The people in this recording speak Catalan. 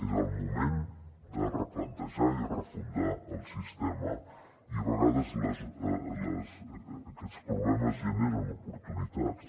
és el moment de replantejar i refundar el sistema i a vegades aquests problemes generen oportunitats